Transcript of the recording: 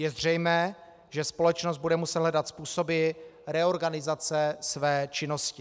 Je zřejmé, že společnost bude muset hledat způsoby reorganizace své činnosti.